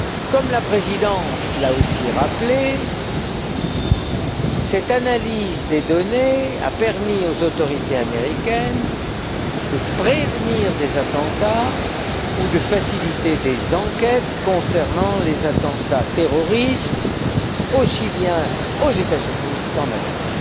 Comme la Présidence l'a aussi rappelé, cette analyse des données a permis aux autorités américaines de prévenir des attentats ou de faciliter des enquêtes concernant les attentats terroristes, aussi bien aux États Unis qu'en Europe.